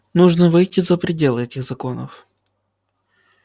нужно выйти за пределы этих законов